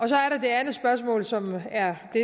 så er der det andet spørgsmål som er det